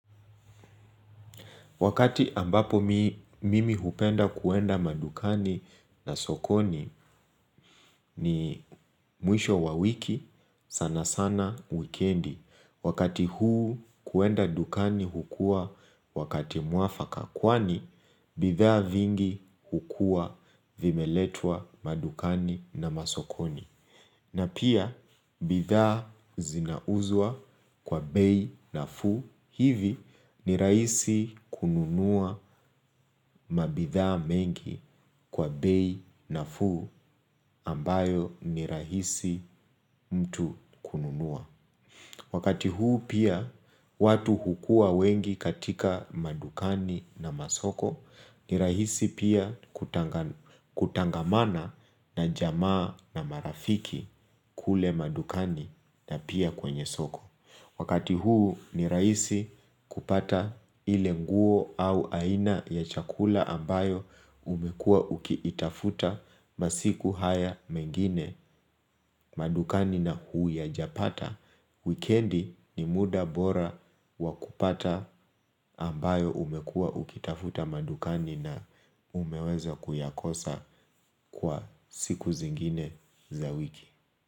Wakati ambapo mimi hupenda kuenda madukani na sokoni ni mwisho wa wiki, sanasana wikendi. Wakati huu kuenda dukani hukua wakati mwafaka kwani, bidhaa vingi hukua vimeletwa madukani na masokoni. Na pia, bidhaa zinauzwa kwa bei nafuu, hivi ni rahisi kununua mabidhaa mengi kwa bei nafuu ambayo ni rahisi mtu kununua. Wakati huu pia watu hukua wengi katika madukani na masoko ni rahisi pia kutangamana na jamaa na marafiki kule madukani na pia kwenye soko. Wakati huu ni rahisi kupata ile nguo au aina ya chakula ambayo umekuwa ukiitafuta masiku haya mengine madukani na huu ya japata. Wikendi ni muda bora wa kupata ambayo umekuwa ukiitafuta madukani na umeweza kuyakosa kwa siku zingine za wiki.